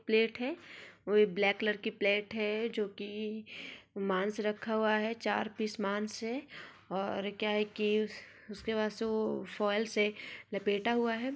Plate है black colour की plate है जो की मांस रखा हुआ है चार पीस मांस है और क्या है की उसके बाद से फॉल्स से लपेटा हुआ है ।